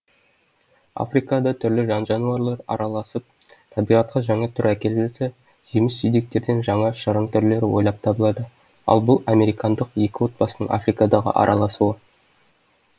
африкада түрлі жан жануарлар араласып табиғатқа жаңа түр әкеліп жатса жеміс жидектерден жаңа шырын түрлері ойлап табылады ал бұл американдық екі отбасының африкадағы араласуы